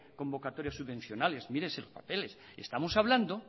convocatorias subvencionales mírese los papeles estamos hablando